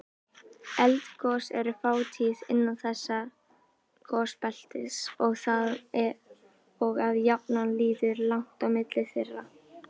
Eldgos eru fátíð innan þessa gosbeltis og að jafnaði líður langt á milli þeirra.